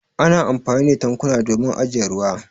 Ana amfani da tankuna domin ajiye ruwa.